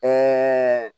Ɛɛ